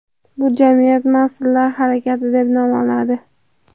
Bu jamiyat masonlar harakati deb nom oladi.